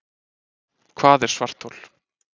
Hvað er svarthol?